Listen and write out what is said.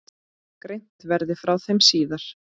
Greint verði frá þeim síðar.